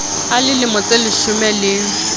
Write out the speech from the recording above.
a le lemo tseleshome le